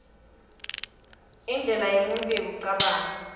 indlela yemuntfu yekucabanga